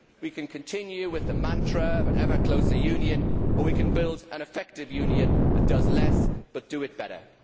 We can continue with the mantra of an ever closer union or we can build an effective union that does less, but does it better.